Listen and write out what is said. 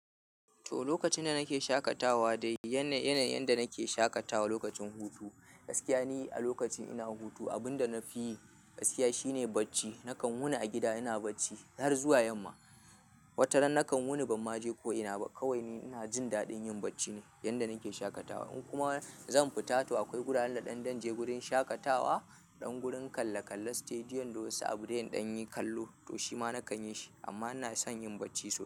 To, lokacin da nake shaƙatawa dai yana, yanayin yanda nake shaƙatawa lokacin hutu. Gaskiya ni a lokacin ina hutu, abunda nafi yi gaskiya shine bacci. Nakan wuni a gida ina bacci har zuwa yamma. Wataran nakan wuni ban ma je ko ina ba. Kawai ni ina jin daɗin yin bacci ne yanda nake shaƙatawa. In kuma zan fita to akwai guraren da ɗan da je gurin shaƙatawa, ɗan gurin kalle kalle, stadium da wasu abu de in ɗan yi kallo to shima nakan yi shi. Amma ina son yin bacci sosai.